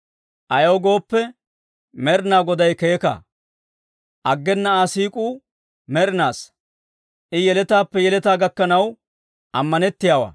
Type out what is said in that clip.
Ayaw gooppe, Med'inaa Goday keeka. Aggena Aa siik'uu med'inaassa; I yeletaappe yeletaa gakkanaw ammanettiyaawaa.